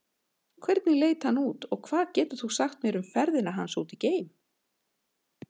Hvernig leit hann út og hvað getur þú sagt mér um ferðina hans út geim?